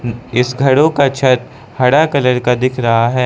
इस घरों का छत हरा कलर का दिख रहा है।